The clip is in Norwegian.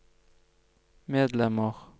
medlemmer